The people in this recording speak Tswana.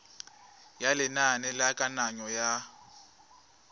ya lenane la kananyo ya